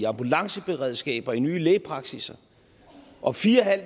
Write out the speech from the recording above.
ambulanceberedskaber nye lægepraksisser og fire